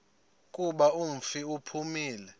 kuba umfi uphumile